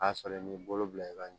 A sɔrɔ i b'i bolo bila i ka ɲɔ